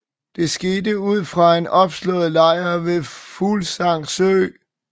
Det skete ud fra en opslået lejr ved Fuglsang Sø